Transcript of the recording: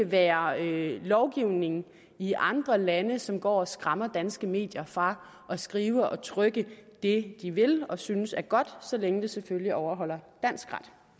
være lovgivning i andre lande som går og skræmmer danske medier fra at skrive og trykke det de vil og synes er godt så længe det selvfølgelig overholder dansk